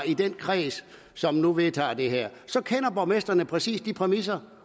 i den kreds som nu vedtager det her så kender borgmestrene præcis de præmisser